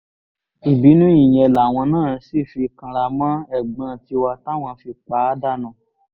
ìbínú ìyẹn làwọn náà sì fi kanra mọ́ ẹ̀gbọ́n tiwa táwọn fi pa á dànù